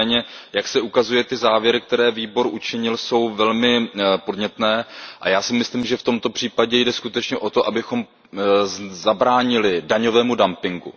Nicméně ty závěry, které výbor učinil, jsou velmi podnětné a já si myslím, že v tomto případě jde skutečně o to, abychom zabránili daňovému dumpingu.